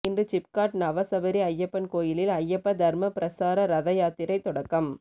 இன்று சிப்காட் நவசபரி ஐயப்பன் கோயிலில் ஐயப்ப தா்ம பிரசார ரத யாத்திரை தொடக்கம்